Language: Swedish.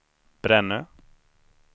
Brännö